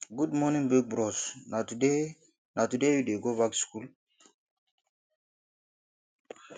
good morning big bros na today na today you dey go back skool